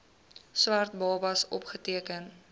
swart babas opgeteken